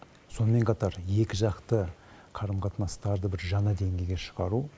сонымен қатар екіжақты қарым қатынастарды бір жаңа деңгейге шығару